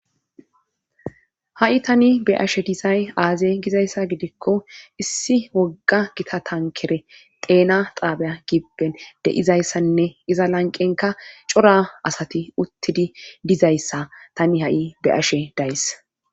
ha7i tani be'ashe disay aaze gizayssa gidikko issi wogga gita tankere xeena xaabeya gibpen de7izayssanne iza lanqenka cora asati uttidi dizayssa tani ha7i be ashe days